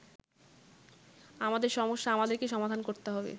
আমাদের সমস্যা আমাদেরকেই সমাধান করতে হবে।